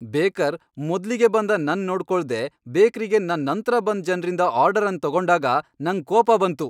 Baker ಮೊದ್ಲಿಗೆ ಬಂದ ನನ್ ನೋಡ್ಕೊಳ್ದೆ ಬೇಕ್ರಿಗೆ ನನ್ ನಂತ್ರ ಬಂದ್ ಜನ್ರಿಂದ ಆರ್ಡರ್ ಅನ್ ತಗೊಂಡಾಗ ನಂಗ್ ಕೋಪ ಬಂತು.